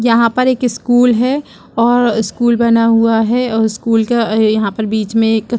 यहाँ पर एक स्कूल है और स्कूल बना हुआ है और स्कूल के यहाँ बीच में एक--